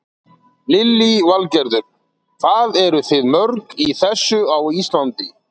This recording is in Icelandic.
Lillý Valgerður: Hvað eruð þið mörg í þessu á Íslandi?